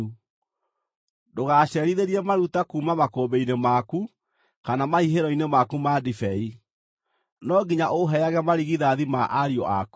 “Ndũgacerithĩrie maruta kuuma makũmbĩ-inĩ maku kana mahihĩro-inĩ maku ma ndibei. “No nginya ũũheage marigithathi ma ariũ aku.